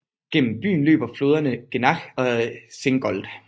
Gennem byen løber floderne Gennach og Singold